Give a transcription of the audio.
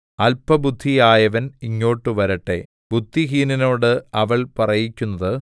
അല്പബുദ്ധിയായവൻ ഇങ്ങോട്ട് വരട്ടെ ബുദ്ധിഹീനനോട് അവൾ പറയിക്കുന്നത്